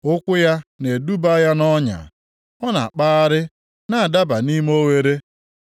Ụkwụ ya na-eduba ya nʼọnya; ọ na-akpagharị na-adaba nʼime oghere.